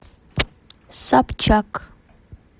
собчак